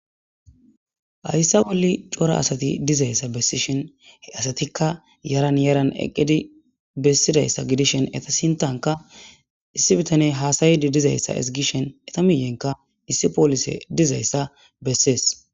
Hayssa bolli cora asati dizayssa bessi shen asatikka yaran yaran eqqedi bessidayssa gidishen eta sintanka issi bitaney haasayedi dizayssa ezigishen eta miyenka issi poolise dizayssa bessees.